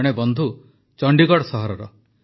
ଜଣେ ବନ୍ଧୁ ଚଣ୍ଡିଗଡ଼ ସହରର